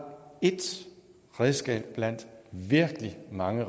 et redskab blandt virkelig mange